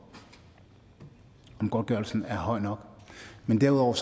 godtgørelsen er høj nok men derudover